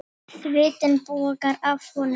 Svitinn bogar af honum.